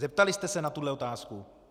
Zeptali jste se na tuhle otázku?